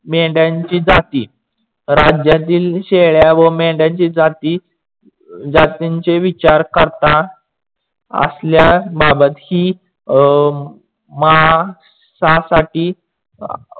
मेंढयाची जाती. राज्यातील शेळ्या व मेंढयनच्या जाती जातींचे विचार करता असल्या बाबत ही अं माणसासाठी